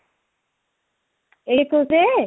ଏଇ ଏକୋଇଶରେ?